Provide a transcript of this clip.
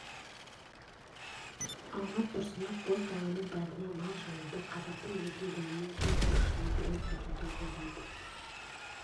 алмат тұрсынов боз даланың бәріне мал жаюды қазақтың етін дүниенің төрт бұрышына бренд етуді ойлайды